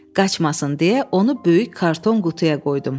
Qaçmasın deyə onu böyük karton qutuya qoydum.